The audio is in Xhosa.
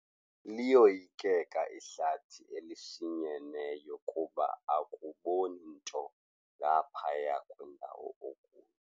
Liyoyikeka ihlathi elishinyeneyo kuba akuboni nto ngaphaya kwendawo okuyo.